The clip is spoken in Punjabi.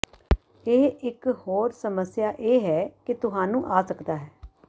ਇਹ ਇਕ ਹੋਰ ਸਮੱਸਿਆ ਇਹ ਹੈ ਕਿ ਤੁਹਾਨੂੰ ਆ ਸਕਦਾ ਹੈ